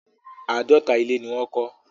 Àádọ́ta ilé ni wọ́n kọ́.